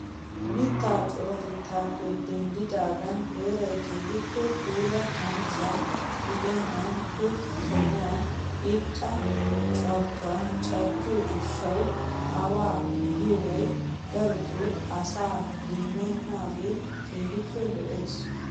Mittatu coratettappe denddidaagan heeray keehippe puula kanchchiyaa gidennan he sohuwaan irxxa carkkoy carkkiyoo gishshawu awa giyoobi darotoo asaa demmenagee keehippe lo"ees.